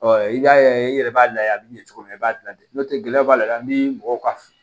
Ɔ i b'a ye i yɛrɛ b'a layɛ a bɛ ɲɛ cogo min na i b'a ladon n'o tɛ gɛlɛya b'a la ni mɔgɔ ka fu